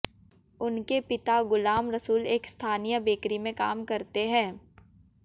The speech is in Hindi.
उनके पिता गुलाम रसूल एक स्थानीय बेकरी में काम करते हैं